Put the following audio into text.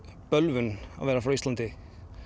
bölvun að vera frá Íslandi